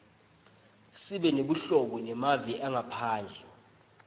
sibe nebuhobo nemave angephandle